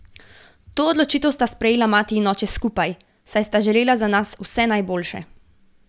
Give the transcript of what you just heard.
To odločitev sta sprejela mati in oče skupaj, saj sta želela za nas vse najboljše.